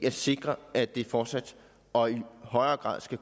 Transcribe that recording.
at sikre at det fortsat og i højere grad skal